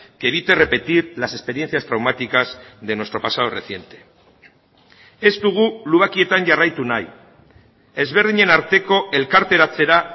que evite repetir las experiencias traumáticas de nuestro pasado reciente ez dugu lubakietan jarraitu nahi ezberdinen arteko elkarteratzera